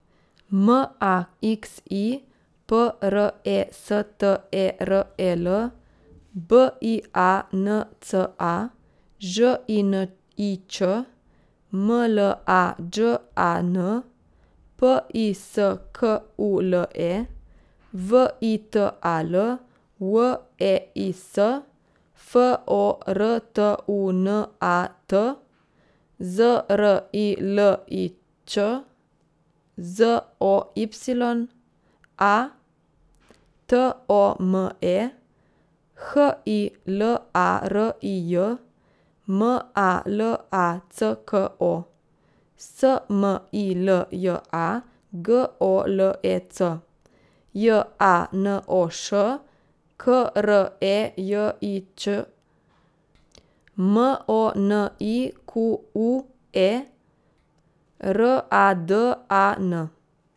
M A X I, P R E S T E R E L; B I A N C A, Ž I N I Č; M L A Đ A N, P I S K U L E; V I T A L, W E I S; F O R T U N A T, Z R I L I Ć; Z O Y A, T O M E; H I L A R I J, M A L A C K O; S M I L J A, G O L E C; J A N O Š, K R E J I Ć; M O N I Q U E, R A D A N.